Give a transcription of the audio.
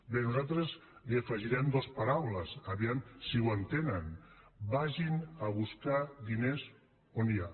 bé nosaltres hi afegirem dues paraules a veure si ho entenen vagin a buscar diners on n’hi ha